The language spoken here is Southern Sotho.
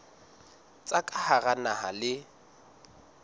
tsa ka hara naha le